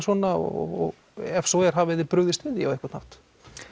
svona og ef svo er hafið þið brugðist við því á einhvern hátt